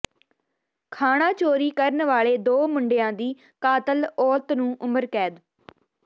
ਖਾਣਾ ਚੋਰੀ ਕਰਨ ਵਾਲੇ ਦੋ ਮੁੰਡਿਆਂ ਦੀ ਕਾਤਲ ਔਰਤ ਨੂੰ ਉਮਰਕੈਦ